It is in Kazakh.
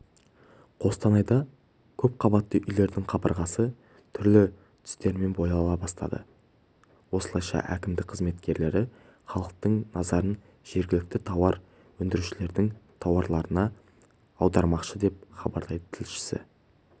қостанайда көпқабатты үйлердің қабырғасы түрлі түстермен бояла бастады осылайша әкімдік қызметкерлері халықтың назарын жергілікті тауар өндірушілердің тауарларына аудармақшы деп хабарлайды тілшісі